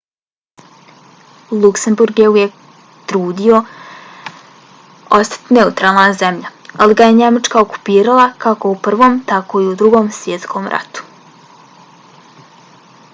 luksemburg se uvijek trudio ostati neutralna zemlja ali ga je njemačka okupirala kako u prvom tako i u drugom svjetskom ratu